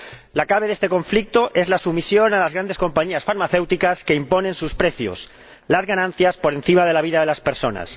La clave de este conflicto es la sumisión a las grandes compañías farmacéuticas, que imponen sus precios las ganancias por encima de la vida de las personas.